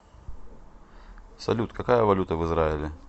салют какая валюта в израиле